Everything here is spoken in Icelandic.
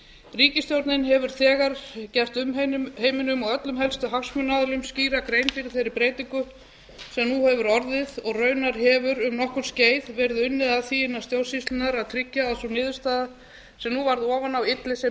ríkisstjórnin hefur þegar gert umheiminum og öllum helstu hagsmunaaðilum skýra grein fyrir þeirri breytingu sem nú hefur orðið og raunar hefur um nokkurt skeið verið unnið að því innan stjórnsýslunnar að tryggja að sú niðurstaða sem nú varð ofan á ylli sem